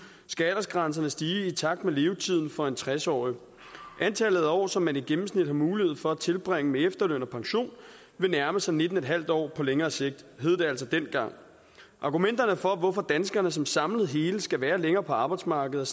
skal aldersgrænserne stige i takt med levetiden for en tres årig antallet af år som man i gennemsnit har mulighed for at tilbringe med efterløn og pension vil nærme sig nitten en halv år på længere sigt hed det altså dengang argumenterne for hvorfor danskerne som samlet hele skal være længere på arbejdsmarkedet